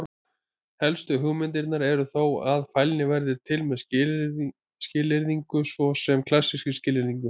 Helstu hugmyndirnar eru þó að: Fælni verði til með skilyrðingu, svo sem klassískri skilyrðingu.